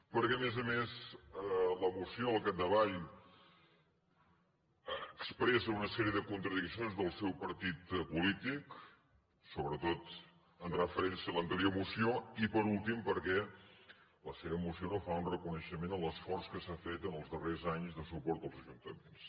perquè a més a més la moció al capdavall expressa una sèrie de contradiccions del seu partit polític sobretot en referència a l’anterior moció i per últim perquè la seva moció no fa un reconeixement a l’esforç que s’ha fet en els darrers anys de suport als ajuntaments